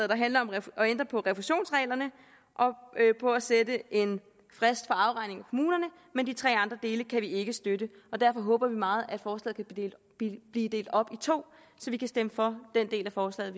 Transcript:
der handler om at ændre på refusionsreglerne og sætte en frist for afregning i kommunerne men de tre andre dele kan vi ikke støtte og derfor håber vi meget at forslaget vil blive delt op i to så vi kan stemme for den del af forslaget